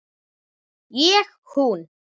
Ég hún.